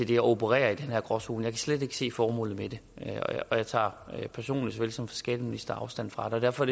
det og opererer i den her gråzone jeg kan slet ikke se formålet med det og jeg tager såvel personligt som som skatteminister afstand fra det derfor